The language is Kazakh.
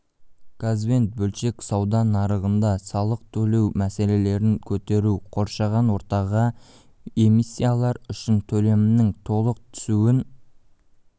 газбен бөлшек сауда нарығында салық төлеу мәселелерін көтерді қоршаған ортаға эмиссиялар үшін төлемнің толық түсуін